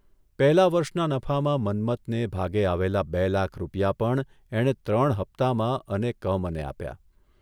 પહેલા વર્ષના નફામાં મન્મથને ભાગે આવેલા બે લાખ રૂપિયા પણ એણે ત્રણ હપ્તામાં અને કમને આપ્યા.